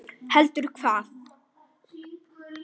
Heldur hvað?